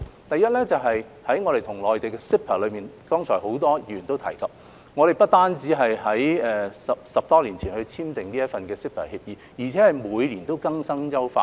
第一，在我們和內地所簽訂的 CEPA， 剛才很多議員也有提及，我們不單是在10多年前已經簽訂這份協議，而且每年都會更新及優化。